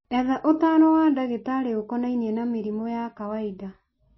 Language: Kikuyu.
Etha ũtaaro wa ndagĩtarĩ ũkonainie na mĩrimũ ya kawainda.